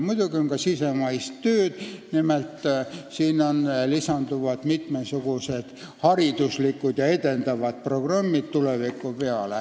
Muidugi on ka riigisisest tööd, nimelt tulevikus lisanduvad mitmesugused hariduslikud ja edendavad programmid.